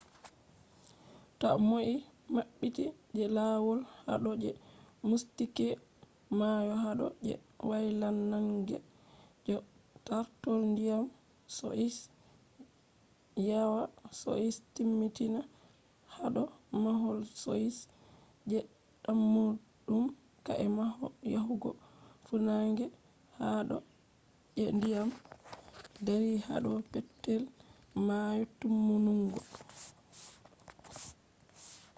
ta less mabbiti je lawol hado je mystic mayo hado je waylannange je tartol diyam be yawa be timmitina hado mahol be je dammudum ka’e mahol yahugo funange hado je diyam dari hado petel mayo. timmunungo